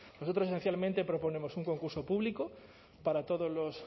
nosotros esencialmente proponemos un concurso público para todos los